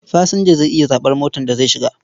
Fasinja zai iya zaɓar motar da zai shiga.